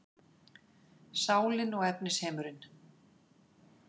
Sálin og efnisheimurinn